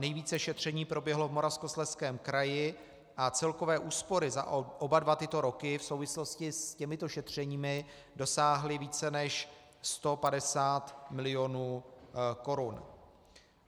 Nejvíce šetření proběhlo v Moravskoslezském kraji a celkové úspory za oba dva tyto roky v souvislosti s těmito šetřeními dosáhly více než 150 milionů korun.